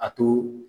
A to